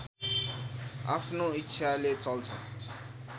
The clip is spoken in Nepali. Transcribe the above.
आफ्नो इच्छाले चल्छ